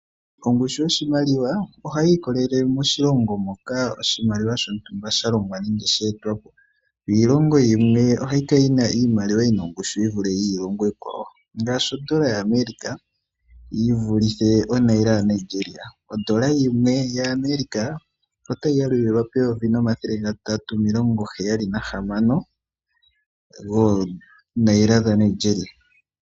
Ongushu yoshimaliwa ohayi ikolele moshilongo moka oshimaliwa shontumba sha longwa nenge she etwa po. Yo iilongo yimwe ohayi kala yi na iimaliwa yi na ongushu yi vule iilongo iikwawo, ngaashi odola yaAmerica yi vulithe onaira yimwe yaNigeria. Odola yimwe yaAmerica otayi yalulilwa peyovi nomathele gatatu omilongoheyali nahamana goonaira dhaNigeria.